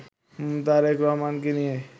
তারেক রহমানকে নিয়ে